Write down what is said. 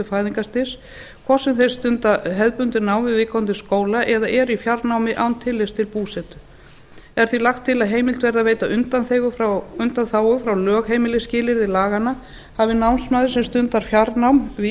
fæðingarstyrks hvort sem þeir stunda hefðbundið nám við viðkomandi skóla eða eru í fjarnámi án tillits til búsetu er því lagt til að heimilt verði að veita undanþágu frá lögheimilisskilyrði laganna hafi námsmaður sem stundar fjarnám við